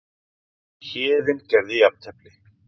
Héðinn gerði jafntefli